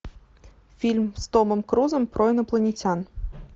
фильм с томом крузом про инопланетян